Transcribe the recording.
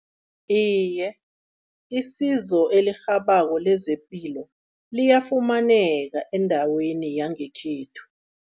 Iye, isizo elirhabako lezepilo liyafumaneka endaweni yangekhethu.